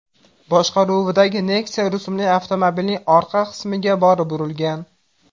boshqaruvidagi Nexia rusumli avtomobilning orqa qismiga borib urilgan.